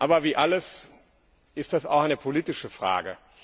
Aber wie alles ist das auch eine politische Frage.